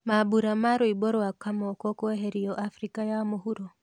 Mambũra ma rwĩmbo rwa Kamoko kweherio Afrika ya mũhuro